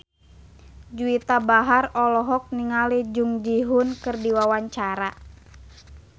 Juwita Bahar olohok ningali Jung Ji Hoon keur diwawancara